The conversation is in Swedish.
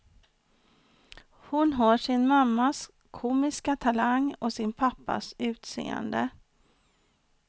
Hon har sin mammas komiska talang och sin pappas utseende.